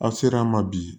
Aw sera a ma bi